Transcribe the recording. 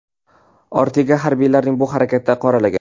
Ortega harbiylarning bu harakatlarini qoralagan.